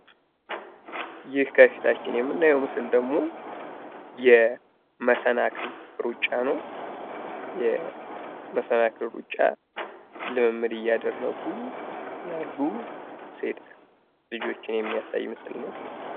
ይህ ከፊታችን የምናየው ምስል ደግሞ የመሰናክል ሩጫ ነው። የመሰናክል ሩጫ ልምምድ እያደረጉ ያሉ ሴት ልጆችን የሚያሳይ ምስል ነው።